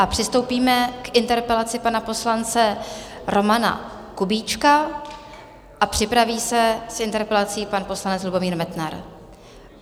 A přistoupíme k interpelaci pana poslance Romana Kubíčka a připraví se s interpelací pan poslanec Lubomír Metnar.